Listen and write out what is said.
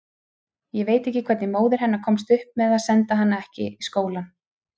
Ég veit ekki hvernig móðir hennar komst upp með að senda hana ekki í skóla.